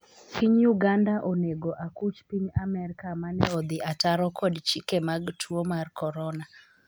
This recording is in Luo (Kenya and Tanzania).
piny Uganda onego akuch Piny Amerka mane odhi ataro kod chike mag tuo mar korona